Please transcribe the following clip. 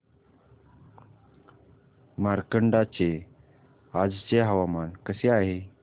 मार्कंडा चे आजचे हवामान कसे आहे